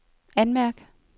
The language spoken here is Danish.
anmærk